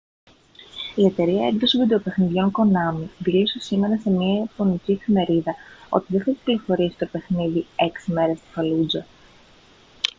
η εταιρεία έκδοσης βιντεοπαιχνιδιών konami δήλωσε σήμερα σε μια ιαπωνική εφημερίδα ότι δεν θα κυκλοφορήσει το παιχνίδι έξι μέρες στην φαλούτζα